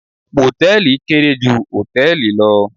Mòtẹ́ẹ̀lì kéré ju Hòtẹ́ẹ̀lì lọ